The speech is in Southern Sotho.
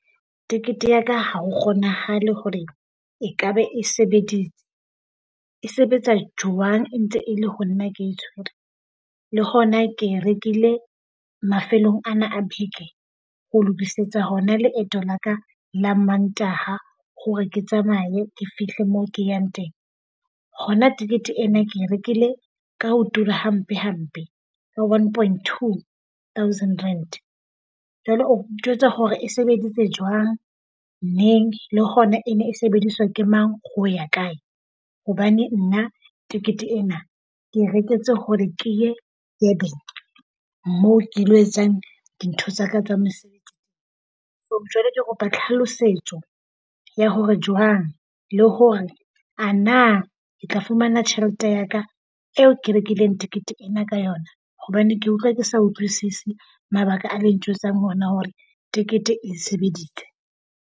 Tekete ya ka ha ho kgonahale hore ekabe e sebeditse. E sebetsa jwang e ntse e le ho nna ke e tshwere? Le hona ke e rekile mafelong ana a beke ho lokisetsa hona leeto la ka la Mantaha hore ke tsamaye ke fihle moo ke yang teng. Hona tikete ena ke e rekile ka ho tura hampe hampe, ka one point two thousand rand. Jwale o ntjwetsa hore e sebeditse jwang neng le hona e ne e sebediswa ke mang, ho ya kae? Hobane nna tikete ena ke e reketse hore ke ye Durban moo ke lo etsang dintho tsa ka tsa , jwale ke kopa tlhalosetso ya hore jwang le hore a na ke tla fumana tjhelete ya ka eo ke rekileng tikete ena ka yona? Hobane ke utlwa ke sa utlwisise mabaka a le ntjwetsang hona hore tikete e sebeditse.